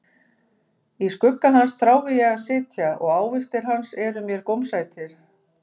Í skugga hans þrái ég að sitja, og ávextir hans eru mér gómsætir.